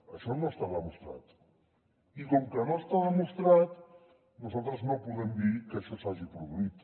això no està demostrat i com que no està demostrat nosaltres no podem dir que això s’hagi produït